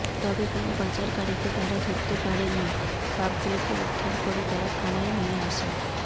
তবে কোনও পাচারকারীকে তাঁরা ধরতে পারেননি সাপগুলিকে উদ্ধার করে তাঁরা থানায় নিয়ে আসেন